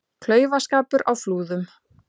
Klaufaskapur á Flúðum